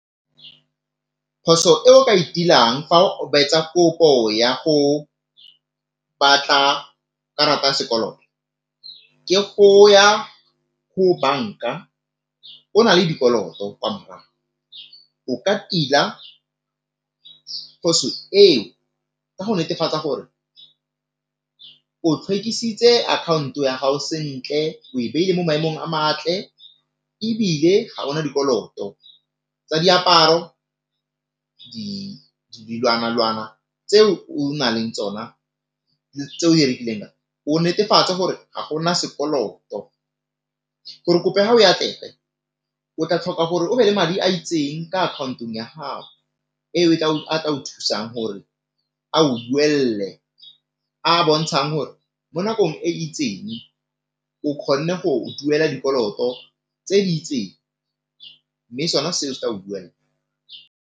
Phoso eo ka e dirang fa etsa kopo ya go batla karata ya sekoloto ke go ya ko banka o na le dikoloto kwa morago, o ka tila le go netefatsa gore o tlhwekesitse account ya gago sentle, o e beile mo maemong a matle, ebile ga bona dikoloto tsa diaparo dilwana-lwana tse o na leng tsona tse o direkileng, o netefatse gore ga gona sekoloto gore kopo ya gago e atlege o tla tlhoka gore o be le madi a itseng ka account-ong ya gago eo a ka o thusang gore ao duelle a bontshang gore mo nakong e itseng o kgonne go duela dikoloto tse di itseng mme sona seo se tla o buella.